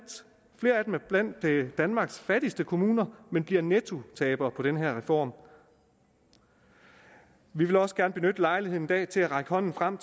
flere af dem er blandt danmarks fattigste kommuner men bliver nettotabere på den her reform vi vil også gerne benytte lejligheden i dag til at række hånden frem